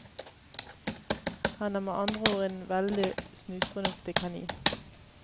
Han er med andre ord en veldig snusfornuftig kanin.